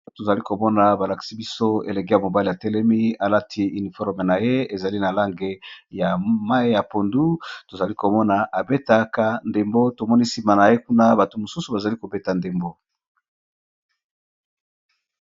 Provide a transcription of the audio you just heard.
Awa tozali komona balakisi biso elege ya mobali ya telemi alati uniforme na ye ezali na lange ya mai ya pondu tozali komona abetaka ndembo tomoni nsima na ye kuna bato mosusu bazali kobeta ndembo.